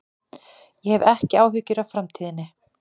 Ég hef ekki áhyggjur af framtíðinni.